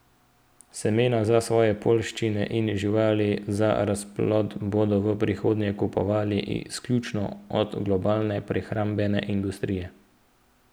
Semena za svoje poljščine in živali za razplod bodo v prihodnje kupovali izključno od globalne prehrambne industrije.